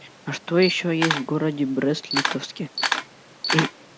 а что ещё есть в городе брест-литовске